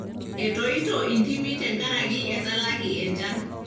etoito indimi tenkaraki etalaki enchan.